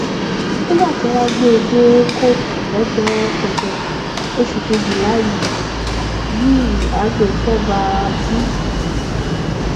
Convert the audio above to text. nígbà tí wọn gbé e dé kóòtù lọjọ kẹjọ oṣù kejìlá yìí yìí agbefọba b